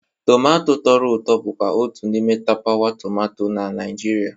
Tumato tọrọ ụtọ bụkwa otu n'ime tapawa tomato na Naịjirịa.